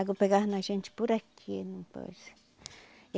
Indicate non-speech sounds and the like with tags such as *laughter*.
água pegava na gente por aqui. *unintelligible*